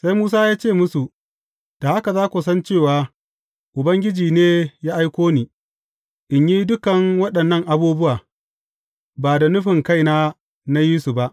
Sai Musa ya ce musu, Da haka za ku san cewa Ubangiji ne ya aiko ni, in yi dukan waɗannan abubuwa, ba da nufin kaina na yi su ba.